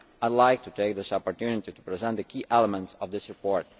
I would like to take this opportunity to present the key elements of this report.